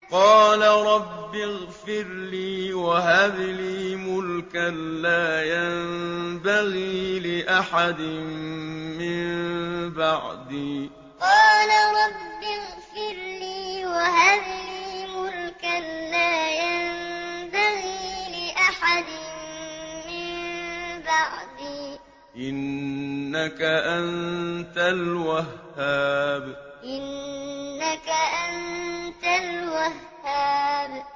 قَالَ رَبِّ اغْفِرْ لِي وَهَبْ لِي مُلْكًا لَّا يَنبَغِي لِأَحَدٍ مِّن بَعْدِي ۖ إِنَّكَ أَنتَ الْوَهَّابُ قَالَ رَبِّ اغْفِرْ لِي وَهَبْ لِي مُلْكًا لَّا يَنبَغِي لِأَحَدٍ مِّن بَعْدِي ۖ إِنَّكَ أَنتَ الْوَهَّابُ